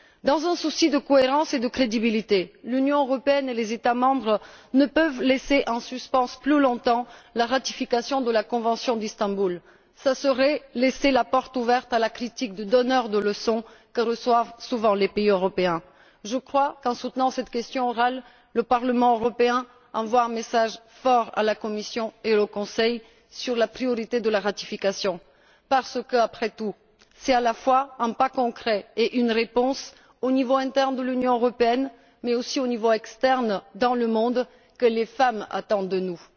Dans un souci de cohérence et de crédibilité, l'Union européenne et les États membres ne peuvent laisser en suspens plus longtemps la ratification de la convention d'Istanbul. Ce serait laisser la porte ouverte à la critique du donneur de leçons à laquelle les pays européens sont souvent confrontés. Je crois qu'en soutenant cette question orale, le Parlement européen envoie un message fort à la Commission et au Conseil sur la priorité de la ratification, parce qu'après tout, c'est à la fois un pas concret et une réponse au niveau interne de l'Union européenne, mais aussi au niveau externe dans le monde, que les femmes attendent de nous.